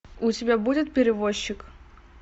у тебя будет перевозчик